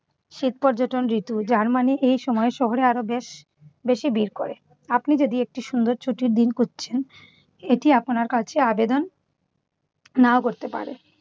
শীত পর্যটন ঋতু। যার মানে এই সময় শহরে আরো বেশ বেশি ভীড় করে। আপনি যদি একটি সুন্দর ছুটির দিন খুঁজছেন এটি আপনার কাছে আবেদন নাও করতে পারে।